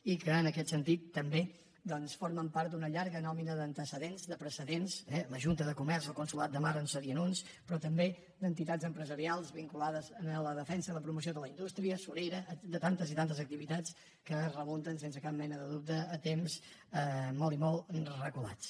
i en aquest sentit també doncs formen part d’una llarga nòmina d’antecedents de precedents eh la junta de comerç o el consolat de mar en serien uns però també entitats empresarials vinculades a la defensa i la promoció de la indústria de tantes i tantes activitats que es remunten sense cap mena de dubte a temps molt i molt reculats